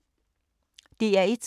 DR1